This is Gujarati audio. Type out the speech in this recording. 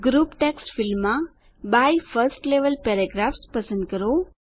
ગ્રુપ ટેક્સ્ટ ફીલ્ડમાં બાય 1એસટી લેવેલ પેરાગ્રાફ્સ પસંદ કરો